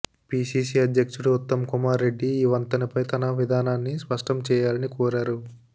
PCC అధ్యక్షుడు ఉత్తమ్కుమార్ రెడ్డి ఈ వంతెనపైన తన విధానాన్ని స్పష్టం చేయాలని కోరారు